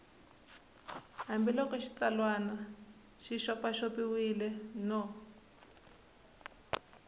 hambiloko xitsalwana xi xopaxopiwile no